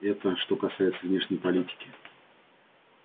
это что касается внешней политики